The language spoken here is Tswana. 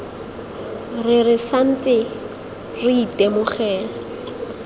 re re santse re itemogela